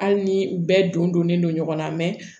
Hali ni u bɛɛ don donnen don ɲɔgɔn na